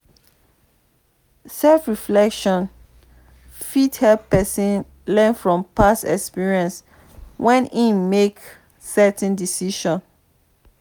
self reflection fit help person learn from past experiences where im make certain decisions